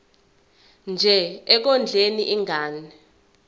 nje ekondleni ingane